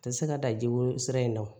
Tɛ se ka dan jiko sira in na